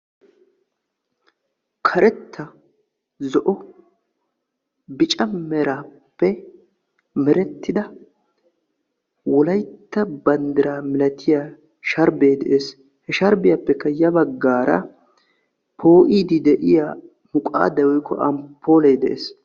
Karetta, zo'o, bicca meraappe merettida wolaytta bandraa milattiyaa sharbbe de'es, he sharbiyaappekka ya baggara poo'idi de'iyaa muqadday woykko amppole de'es.